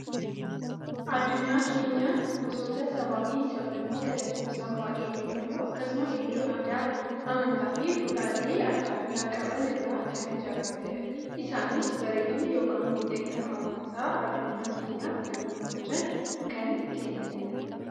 Addunyaan keenya, gosoota sabaa fi sablammootaa lakkoofsaan baayyee hedduu akkasuma illee aadaa, amantaa, fi duudhaalee addaa addaa qaban irraa kan ijaaramtedha. Isaanis bareedina yookaan miidhagina hawaasa addunyaa keenyaaf kan gumaachan, kan kennanidha.